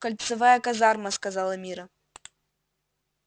кольцевая казарма сказала мирра